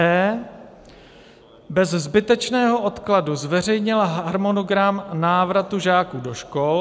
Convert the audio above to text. e) bez zbytečného odkladu zveřejnila harmonogram návratu žáků do škol;